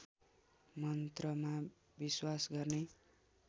मन्त्रमा विश्वास गर्ने